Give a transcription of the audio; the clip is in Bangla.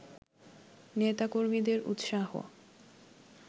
নেতাকর্মীদের উৎসাহ